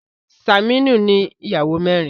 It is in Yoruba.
Saminu ní Ìyàwó mẹrin.